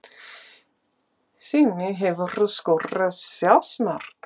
Simmi Hefurðu skorað sjálfsmark?